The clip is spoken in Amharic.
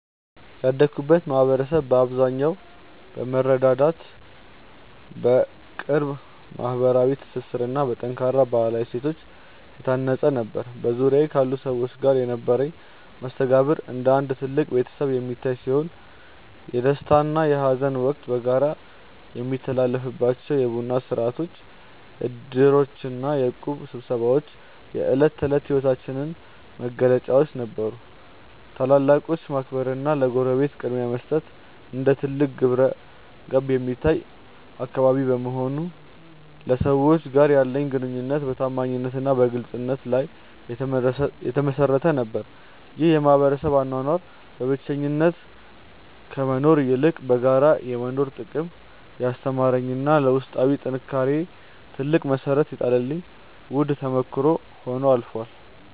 ያደግኩበት ማኅበረሰብ በአብዛኛው በመረዳዳት፣ በቅርብ ማኅበራዊ ትስስርና በጠንካራ ባሕላዊ እሴቶች የታነፀ ነበር። በዙሪያዬ ካሉ ሰዎች ጋር የነበረኝ መስተጋብር እንደ አንድ ትልቅ ቤተሰብ የሚታይ ሲሆን፣ የደስታና የሐዘን ወቅት በጋራ የሚታለፍባቸው የቡና ሥርዓቶች፣ ዕድሮችና የእቁብ ስብሰባዎች የዕለት ተዕለት ሕይወታችን መገለጫዎች ነበሩ። ታላላቆችን ማክበርና ለጎረቤት ቅድሚያ መስጠት እንደ ትልቅ ግብረገብ የሚታይበት አካባቢ በመሆኑ፣ ከሰዎች ጋር ያለኝ ግንኙነት በታማኝነትና በግልጽነት ላይ የተመሠረተ ነበር። ይህ የማኅበረሰብ አኗኗር በብቸኝነት ከመኖር ይልቅ በጋራ የመኖርን ጥቅም ያስተማረኝና ለውስጣዊ ጥንካሬዬ ትልቅ መሠረት የጣለልኝ ውድ ተሞክሮ ሆኖ አልፏል።